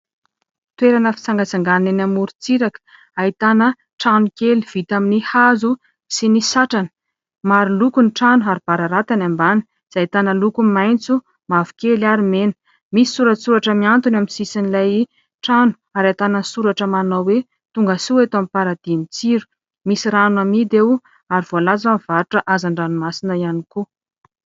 Toerana fitsangatsanganana eny amoron-tsiraka ahitana trano kely vita amin'ny hazo sy ny satrana. Maro loko ny trano ary bararata ny ambany izay ahitana loko maitso, mavokely, ary mena. Misy soratsoratra miantona eo amin'ny sisin'ilay trano ary ahitana soratra manao hoe tongasoa eto amin'ny "paradis" n'ny tsiro. Misy rano amidy eo ary voalaza mivarotra hazandranomasina ihany koa.